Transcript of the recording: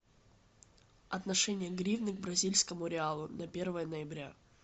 отношение гривны к бразильскому реалу на первое ноября